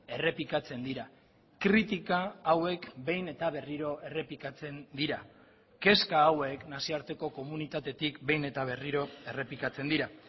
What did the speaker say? errepikatzen dira kritika hauek behin eta berriro errepikatzen dira kezka hauek nazioarteko komunitatetik behin eta berriro errepikatzen dira